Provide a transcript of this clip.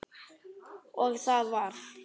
Og það varð.